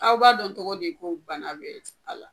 Aw b'a dɔn togo di ko bana bɛ a la?